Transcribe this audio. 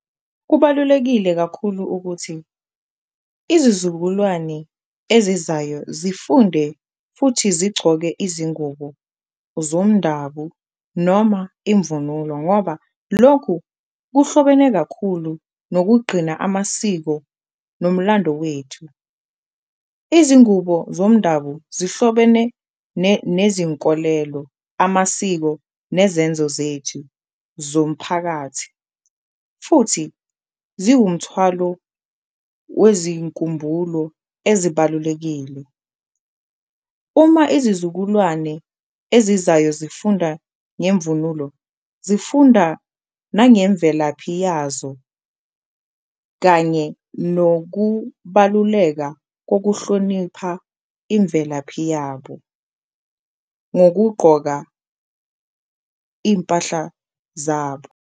Kubalulekile kakhulu ukuthi izizukulwane ezizayo zifunde futhi zigcoke izingubo zomndabu noma imvunulo ngoba lokhu kuhlobene kakhulu nokugqina amasiko nomlando wethu. Izingubo zomndabu zihlobene nezinkolelo, amasiko nezenzo zethu zomphakathi futhi ziwumthwalo wezinkumbulo ezibalulekile, uma izizukulwane ezizayo zifunda ngemvunulo zifunda nangemvelaphi yazo. Kanye nokubaluleka kokuhlonipha imvelaphi yabo ngokugqoka iy'mpahla zabo.